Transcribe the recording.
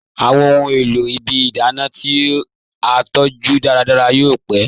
Awọn ọ̀hun èlò ìbí ìdánà ti a tọju dàràdàrà yóò pẹ̀.